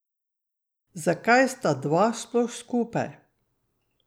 Zakaj sta dva sploh skupaj?